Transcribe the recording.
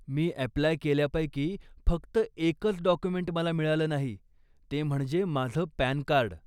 मी apply केल्यापैकी फक्त एकच डॉक्युमेंट मला मिळालं नाही, ते म्हणजे माझं पॅन कार्ड.